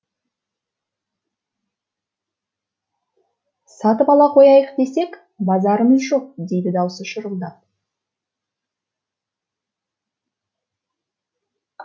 сатып ала қояйық десек базарымыз жоқ дейді даусы шырылдап